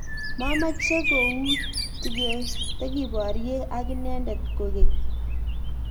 mameche koutikeborye ak inendet kokeny